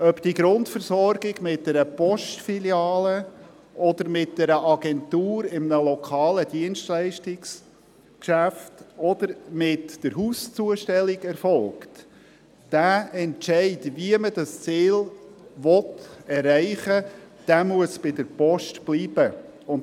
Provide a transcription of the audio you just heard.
Ob die Grundversorgung mit einer Postfiliale, mit einer Agentur in einem lokalen Dienstleistungsgeschäft oder mit der Hauszustellung erfolgt, die Entscheidung, wie man dieses Ziel erreichen will, muss bei der Post bleiben.